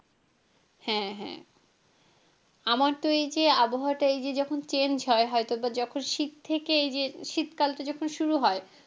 হ্যাঁ হ্যাঁ আমার তো এই যে আবহাওয়া টা এই যে যখন change হয়, বা হয়তো যখন শীত থেকে এই যে শীতকাল টা যখন শুরু হয়,